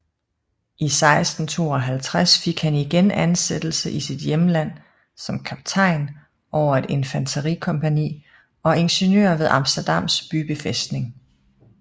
I 1652 fik han igen ansættelse i sit hjemland som kaptajn over et infanterikompagni og ingeniør ved Amsterdams bybefæstning